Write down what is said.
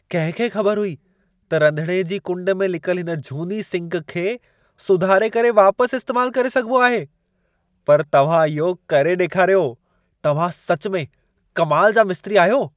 कंहिं खे ख़बर हुई त रंधिणे जी कुंड में लिकल इन झूनी सिंक खे सुधारे करे वापसि इस्तेमालु करे सघिबो आहे। पर तव्हां इहो करे ॾेखारियो। तव्हां सच में कमाल जा मिस्त्री आहियो।